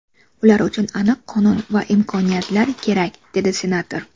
Ular uchun aniq qonun va imkoniyatlar kerak”, dedi senator.